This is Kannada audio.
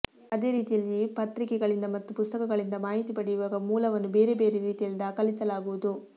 ಅದೇ ರೀತಿಯಲ್ಲಿ ಪತ್ರಿಕೆಗಳಿಂದ ಮತ್ತು ಪುಸ್ತಕಗಳಿಂದ ಮಾಹಿತಿ ಪಡೆಯುವಾಗ ಮೂಲವನ್ನು ಬೇರೆ ಬೇರೆ ರೀತಿಯಲ್ಲಿ ದಾಖಲಿಸಲಾಗುವುದು